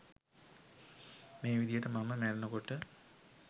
මේ විදිහට මම මැරෙනකොට